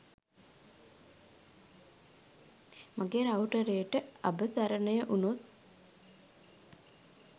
මගේ රවුටරේට අබසරණයඋනොත්